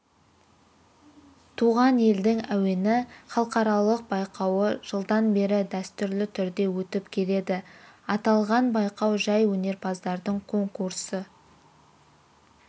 туған елдің әуені халықаралық байқауы жылдан бері дәстүрлі түрде өтіп келеді аталған байқау жәй өнерпаздардың конкурсы